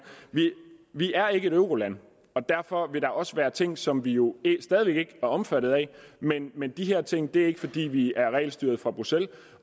vi er ikke et euroland og derfor vil der også være ting som vi jo stadig væk ikke er omfattet af men men de her ting er ikke fordi vi er regelstyret fra bruxelles